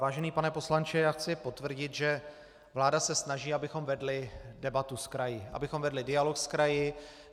Vážený pane poslanče, já chci potvrdit, že vláda se snaží, abychom vedli debatu s kraji, abychom vedli dialog s kraji.